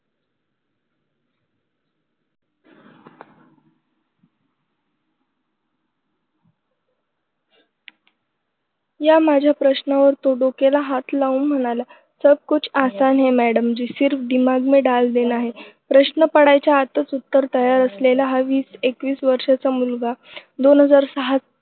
या माझ्या प्रश्नावर तो डोक्याला हात लावून म्हणाला सबकुछ असं है madam जी शिर्क दिमाग मी डाल देना है प्रश्न पडायच्या आतच उत्तर तयार असलेला हा वीस एकवीस वर्षाचा मुलगा दोन हजार सहा